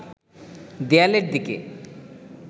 দেয়ালের দিকে